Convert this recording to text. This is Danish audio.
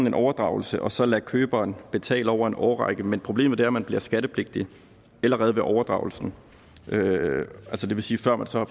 en overdragelse og så lade køberen betale over en årrække men problemet er at man bliver skattepligtig allerede ved overdragelsen det vil sige før man så